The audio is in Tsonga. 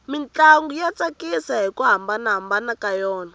mintlangu ya tsakisa hiku hambana ka yona